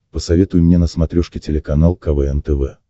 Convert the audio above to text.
посоветуй мне на смотрешке телеканал квн тв